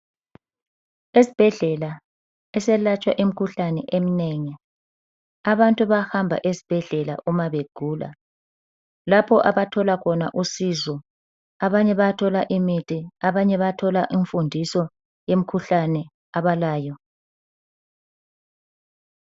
Esibhedlela eselatshwa imikhuhlane eminengi. Abantu bayahamba esibhedlela umabegula lapho abathola khona usizo abanye bayathola imithi abanye bayathola imfundiso kumkhuhlane abalayo.